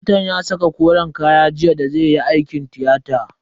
Likitan ya saka koren kaya jiya da zai yi aikin tiyata.